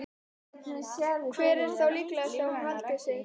Hvar er þá líklegast að hún haldi sig?